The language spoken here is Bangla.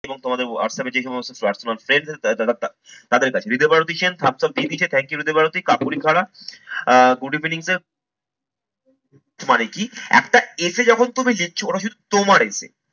তোমাদের WhatsApp এ যে সমস্ত WhatsApp friends আছে তারা তা তাদের কাছে, দ্বিতীয়বার audition, subscribe, thank you Bharati, কাপুরী খাড়া আহ good evening safe মানে কি? একটা essay এ যখন তুমি জিতছো ওরা শুধু তোমার এতে